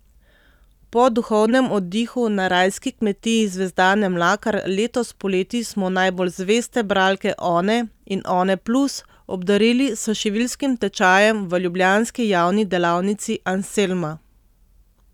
Po duhovnem oddihu na rajski kmetiji Zvezdane Mlakar letos poleti smo najbolj zveste bralke One in Oneplus obdarili s šiviljskim tečajem v ljubljanski javni delavnici Anselma.